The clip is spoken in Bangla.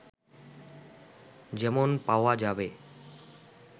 যেমন পাওয়া যাবে